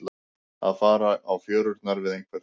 Að fara á fjörurnar við einhvern